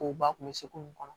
O ba tun bɛ se k'u kɔnɔ